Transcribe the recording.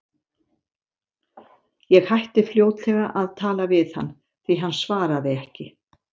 Ég hætti fljótlega að tala við hann, því hann svaraði ekki.